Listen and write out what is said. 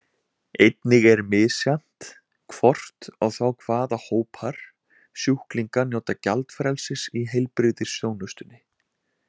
Einnig er misjafnt hvort og þá hvaða hópar sjúklinga njóta gjaldfrelsis í heilbrigðisþjónustunni.